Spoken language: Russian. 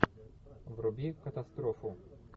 вруби катастрофу